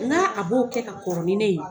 N k'a a b'o kɛ ka kɔrɔ ni ne ye wa ?